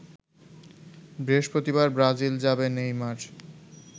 বৃহস্পতিবার ব্রাজিল যাবে নেইমার